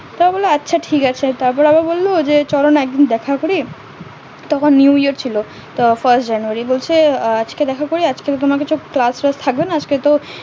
সে বললো আচ্ছা ঠিক আছে তবে আবার বললো চলো না একদিন দেখা করি তখন new year ছিল তো fast january বলছে আজকে দেখা করবে আজকে তো তোমার কোনো class class থাকবে না আজকে তো